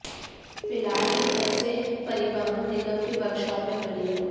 फिलहाल ये बसें परिवहन निगम के वर्कशॉप में खड़ी हैं